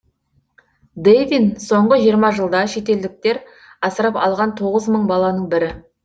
дэвин соңғы жиырма жылда шетелдіктер асырап алған тоғыз мың баланың бірі